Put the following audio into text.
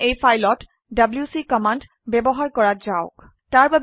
এতিয়া এই ফাইলত ডব্লিউচি কমান্ড ব্যবহাৰ কৰা যাওক